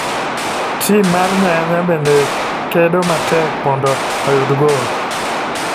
Tim mar nyanya bende kedo matek mondo oyud gol.